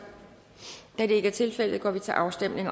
da det ikke er tilfældet går vi til afstemning